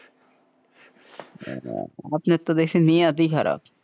আপনার তো দেখছি নিয়াত ই খারাপ,